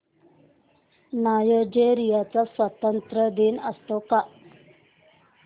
Nigeria चा स्वातंत्र्य दिन असतो का